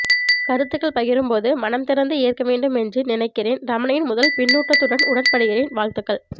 கருத்துக்கள் பகிரும்போது மனம் திறந்து ஏற்க வேண்டும் என்று நினைக்கிறேன் ரமணியின் முதல் பின்னூட்டத்துடன் உடன் படுகிறேன் வாழ்த்துக்கள்